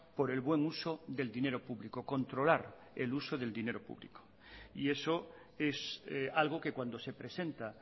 por el buen uso del dinero público controlar el uso del dinero público y eso es algo que cuando se presenta